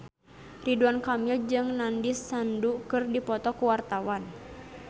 Ridwan Kamil jeung Nandish Sandhu keur dipoto ku wartawan